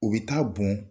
U bɛ taa bɔn